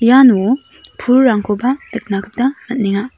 iano pulrangkoba nikna gita man·enga.